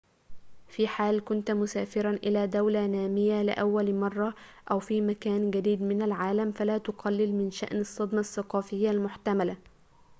في حال كنت مسافرًا إلى دولة نامية لأول مرة أو في مكان جديد من العالم فلا تقلل من شأن الصدمة الثقافية المحتملة